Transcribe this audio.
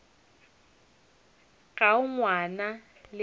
ga o ngwana le nna